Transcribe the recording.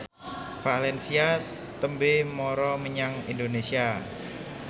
valencia tembe mara menyang Indonesia